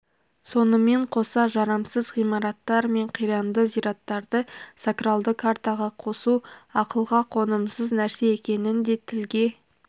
сонымен қоса жарамсыз ғимараттар мен қиранды зираттарды сокралды картаға қосу ақылға қонымсыз нәрсе екенін де тілге